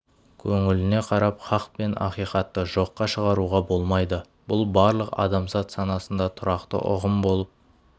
көңіліне қарап хақ пен ақиқатты жоққа шығаруға болмайды бұл барлық адамзат санасында тұрақты ұғым болып